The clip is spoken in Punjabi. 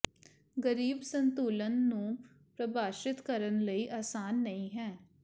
ਗਰੀਬ ਸੰਤੁਲਨ ਨੂੰ ਪ੍ਰਭਾਸ਼ਿਤ ਕਰਨ ਲਈ ਆਸਾਨ ਨਹੀ ਹੈ